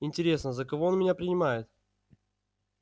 интересно за кого он меня принимает